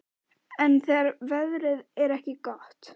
Sigríður: En þegar veðrið er ekki gott?